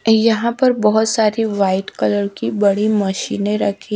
यहाँ पर बहोत सारी वाइट कलर की बड़ी मशीने रखी--